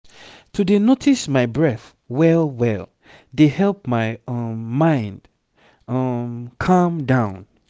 to dey notice my breath well-well dey help my um mind um calm down